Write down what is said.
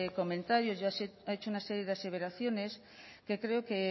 comentarios y ha hecho una serie de aseveraciones que creo que